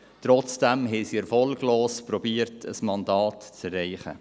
Trotzdem wurde so erfolglos versucht, ein Mandat zu erreichen.